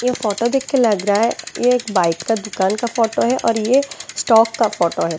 ये फोटो देख के लग रहा है ये एक बाइ का दुकान का फोटो है और ये स्टॉक का फोटो है।